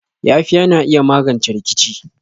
Yafiya na iya magance rikici.